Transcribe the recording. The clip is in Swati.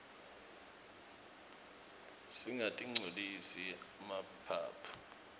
singatirqcolisi emaphaphu